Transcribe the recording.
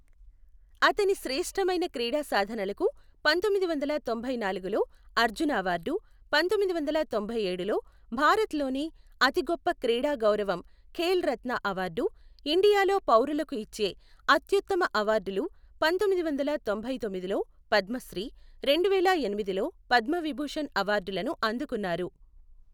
అతని శ్రేష్ఠమైన క్రీడా సాధనలకు పంతొమ్మిది వందల తొంభై నాలుగులో అర్జున అవార్డు, పంతొమ్మిది వందల తొంభై ఏడులో భారత్ లోనే అతి గొప్ప క్రీడా గౌరవం ఖేల్ రత్న అవార్డు, ఇండియాలో పౌరులకు ఇచ్చే అత్యుత్తమ అవార్డులు పంతొమ్మిది వందల తొంభై తొమ్మిదిలో పద్మశ్రీ, రెండువేల ఎనిమిదిలో పద్మవిభూషణ్ అవార్డులను అందుకున్నారు.